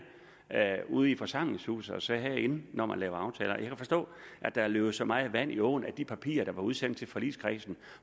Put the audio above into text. ude i forsamlingshusene og siger herinde når man laver aftaler jeg kan forstå at der er løbet så meget vand i åen at de papirer der blev udsendt til forligskredsen